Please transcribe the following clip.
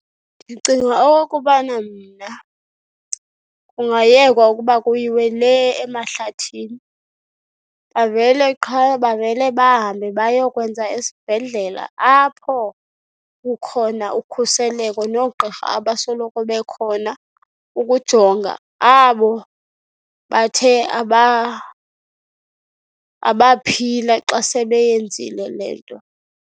Ndicinga okokubana mna kungayekwa ukuba kuyiwe lee emahlathini, bavele qha bavele bahambe bayokwenza esibhedlela apho kukhona ukhuseleko noogqirha abasoloko bekhona ukujonga abo bathe abaphila xa sebeyenzile le nto.